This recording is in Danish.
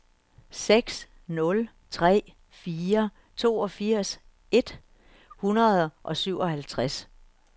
seks nul tre fire toogfirs et hundrede og syvoghalvtreds